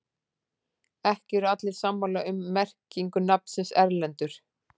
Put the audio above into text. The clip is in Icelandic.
Ekki eru allir sammála um merkingu nafnsins Erlendur.